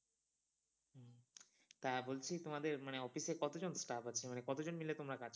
তা বলছি তোমাদের মানে office এ কতজন staff আছে মানে কতজন মিলে তোমরা কাজ করো?